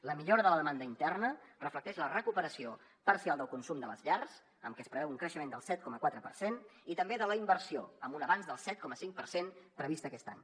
la millora de la demanda interna reflecteix la recuperació parcial del consum de les llars en què es preveu un creixement del set coma quatre per cent i també de la inversió amb un avanç del set coma cinc per cent previst aquest any